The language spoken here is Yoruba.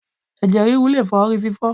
Ẹ̀jẹ̀ ríru le fa ori fífó̩